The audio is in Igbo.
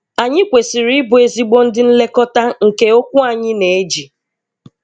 Anyị kwesịrị ịbụ ezigbo ndị nlekọta nke okwu anyị na-eji.